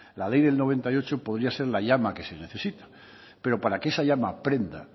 la ley del mil novecientos noventa y ocho podía ser la llama que se necesita pero para que esa llama prenda